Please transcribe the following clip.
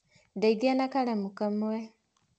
Ndeitha na karamu kamwe.